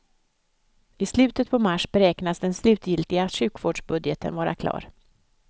I slutet på mars beräknas den slutgiltiga sjuvårdsbudgeten vara klar.